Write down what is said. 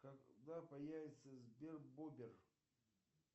когда появится сбер бубер